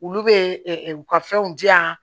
Olu bɛ u ka fɛnw di yan